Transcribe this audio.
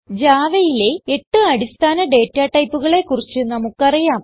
Javaയിലെ 8 അടിസ്ഥാന ഡേറ്റ ടൈപ്പുകളെ കുറിച്ച് നമുക്ക് അറിയാം